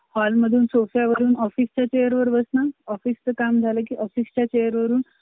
Hall मधून, सोफ्या वरून, office चा chair वर बसून, office चं काम झालं की office च्या वरून